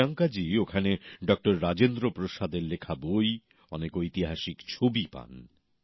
প্রিয়াঙ্কাজী ওখানে ডক্টর রাজেন্দ্র প্রসাদের লেখা বই অনেক ঐতিহাসিক ছবির সন্ধান পান